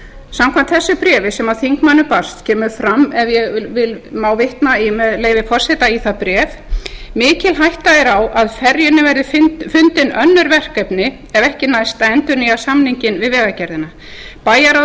samkvæmt þessu bréfi sem þingmönnum barst kemur fram ef ég má vitna með leyfi forseta í það bréf mikil hætta er á að ferjunni verði fundin önnur verkefni ef ekki næst að endurnýja samninginn við vegagerðina bæjarráð